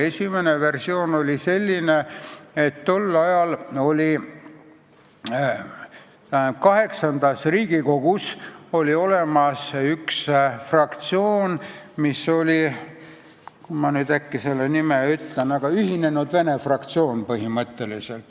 Esimene versioon on selline, et tol ajal oli VIII Riigikogus ühinenud vene fraktsioon.